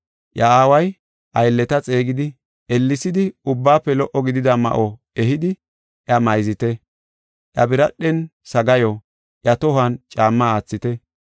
“Iya aaway aylleta xeegidi, ‘Ellesidi ubbaafe lo77o gidida ma7o ehidi iya mayzite; iya biradhen sagaayo, iya tohon caamma aathite.